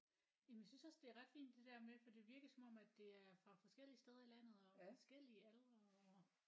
Jamen jeg synes også det er ret fint det der med for det virkede som om at det er fra forskellige steder i landet og forskellige aldre og